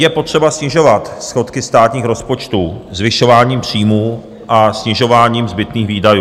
Je potřeba snižovat schodky státních rozpočtů zvyšováním příjmů a snižováním zbytných výdajů.